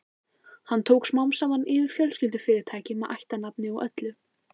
Hann tók smám saman yfir fjölskyldufyrirtækið með ættarnafni og öllu.